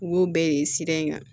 U b'o bɛɛ de sira in kan